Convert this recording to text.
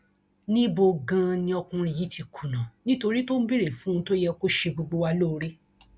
níbo ganan ni ọkùnrin yìí ti kùnà nítorí tó ń béèrè fún ohun tó yẹ kó ṣe gbogbo wa lóore